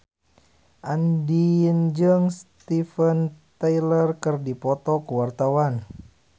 Andien jeung Steven Tyler keur dipoto ku wartawan